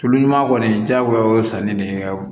Tulu ɲuman kɔni diyagoya o sanni de